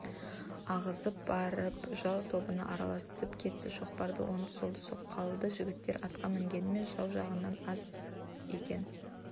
ағызып барып жау тобына араласып кетті шоқпарды онды-солды соққылады жігіттері атқа мінгенімен жау жағынан аз екен